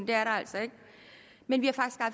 det er der altså ikke men vi